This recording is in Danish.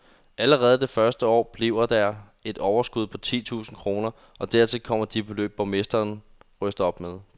Allerede det første år bliver der et overskud på ti tusinde kroner, og dertil kommer de beløb, borgerne ryster op med.